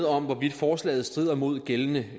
om hvorvidt forslaget strider mod gældende